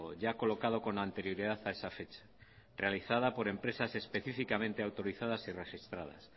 ya colocado con anterioridad a esa fecha realizada por empresas específicamente autorizadas y registradas